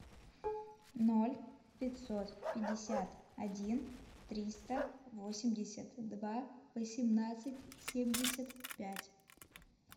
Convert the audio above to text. ноль пятьсот пятьдесят один триста восемьдесят два восемнадцать семьдесят пять